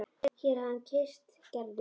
Og hér hér hafði hann kysst Gerði.